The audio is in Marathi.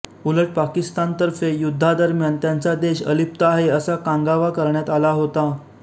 उलट पाकिस्तानतर्फे युद्धादरम्यान त्यांचा देश अलिप्त आहे असा कांगावा करण्यात आला होता